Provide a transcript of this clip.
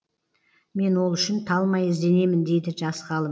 мен ол үшін талмай ізденемін дейді жас ғалым